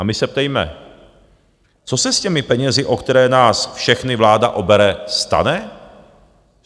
A my se ptejme - co se s těmi penězi, o které nás všechny vláda obere, stane?